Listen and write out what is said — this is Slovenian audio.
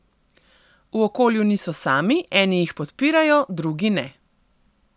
V okolju niso sami, eni jih podpirajo, drugi ne.